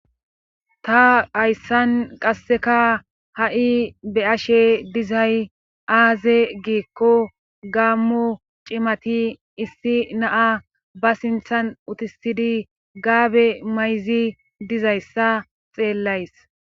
Ta hayssan qasseka ha'i be ashe dizay aaze giikko gaammo cimati issi naa ba sinthan utisidi gaabe mayzi dizayssa xeellays.